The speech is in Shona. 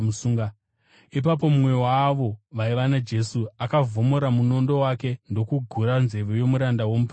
Ipapo mumwe waavo vaiva naJesu akavhomora munondo wake ndokugura nzeve yomuranda womuprista mukuru.